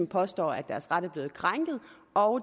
påstår at deres ret er blevet krænket og